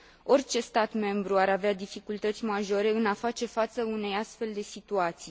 Orice stat membru ar avea dificultăți majore în a face față unei astfel de situații.